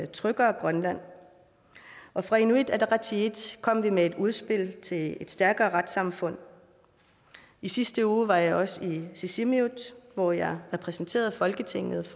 tryggere grønland og fra inuit ataqatigiit kom vi med et udspil til et stærkere retssamfund i sidste uge var jeg også i sisimiut hvor jeg repræsenterede folketinget